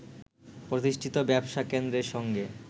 প্রতিষ্ঠিত ব্যবসা কেন্দ্রের সঙ্গে